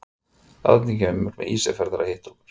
Árni kemur til Ísafjarðar að hitta okkur.